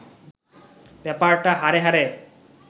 ব্যাপারটা হাড়ে হাড়ে